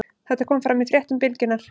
Þetta kom fram í fréttum Bylgjunnar